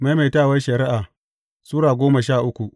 Maimaitawar Shari’a Sura goma sha uku